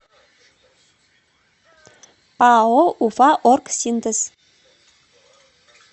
пао уфаоргсинтез